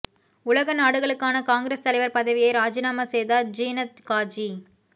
உலக நாடுகளுக்கான காங்கிரஸ் தலைவர் பதவியை ராஜினாமா செய்தார் ஜுனத் காஜி